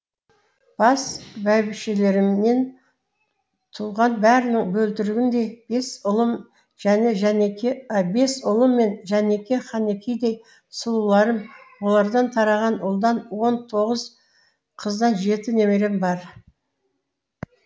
бас бәйбішелерімнен туған бәрінің бөлтірігіндей бес ұлым және жәнеке бес ұлым мен жәнеке ханекедей сұлуларым олардан тараған ұлдан он тоғыз қыздан жеті немерем бар